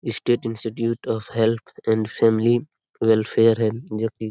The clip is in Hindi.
state institute of health and family welfare है जो की --